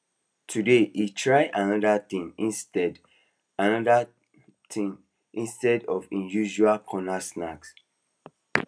today he try another thing instead another thing instead of him usual corner snack